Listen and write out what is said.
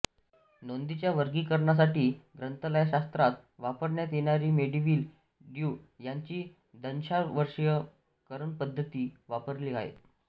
नोंदींच्या वर्गीकरणासाठी ग्रंथालयशास्त्रात वापरण्यात येणारी मेलविल डयुई ह्यांची दशांशवर्गीकरणपद्धती वापरली आहे